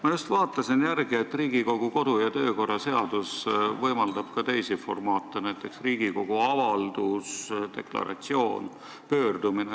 Ma just vaatasin järele, et Riigikogu kodu- ja töökorra seadus võimaldab ka teisi formaate, näiteks Riigikogu avaldus, deklaratsioon, pöördumine.